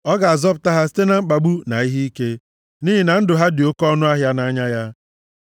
Ọ ga-azọpụta ha site na mkpagbu na ihe ike, nʼihi na ndụ ha dị oke ọnụahịa nʼanya ya.